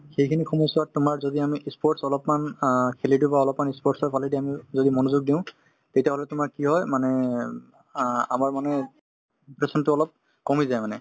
সেইখিনি সময়ছোৱাত তোমাৰ যদি আমি ই sports অলপমান অ খেলি দিওঁ বা অলপমান ই sports ফালেদি আমি যদি মনযোগ দিওঁ তেতিয়াহলে তোমাৰ কি হয় মানে অ আমাৰ মানে depression তো অলপ কমি যায় মানে